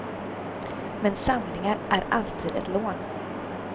Men samlingar är alltid ett lån.